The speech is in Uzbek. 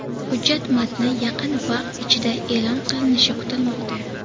Hujjat matni yaqin vaqt ichida e’lon qilinishi kutilmoqda.